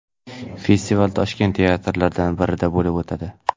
Festival Toshkent teatrlaridan birida bo‘lib o‘tadi.